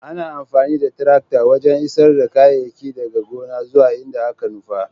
Ana amfani da tarakta wajen isar da kayayyaki daga gona zuwa inda aka nufa.